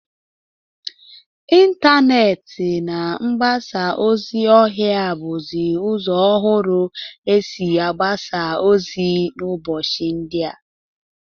Intaneeti na mgbasa ozi ọha bụzị ụzọ ọhụrụ esi agbasa ozi n'ụbọchị ndịa.